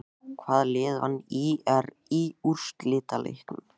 Hvaða lið vann ÍR í úrslitaleiknum?